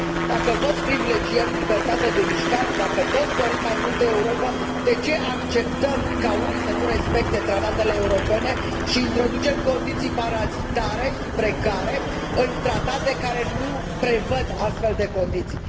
Dacă toți privilegiem libertatea de mișcare, dacă toți dorim mai multă Europă, de ce acceptăm ca unii să nu respecte tratatele europene și introducem condiții parazitare și precare în tratate care nu prevăd astfel de condiții.